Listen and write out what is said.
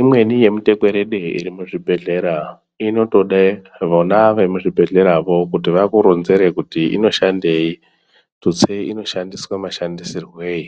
Imweni yemutekwerede irimuzvibhedhlera inotode vona vemuzvibhedhlera vo kuti vakuronzere kuti inoshandei tuste inoshandiswa mashandisirweyi